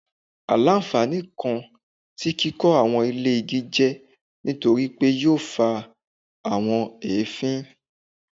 Aila-nfani kan ti kikọ awọn ile igi jẹ nitori pe yoo fa awọn eefin